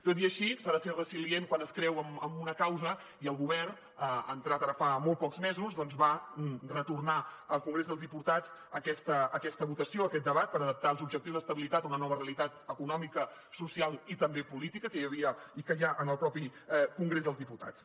tot i així s’ha de ser resilient quan es creu en una causa i el govern entrat ara fa molt pocs mesos doncs va retornar al congrés dels diputats aquesta votació aquest debat per adaptar els objectius d’estabilitat a una nova realitat econòmica social i també política que hi havia i que hi ha en el mateix congrés dels diputats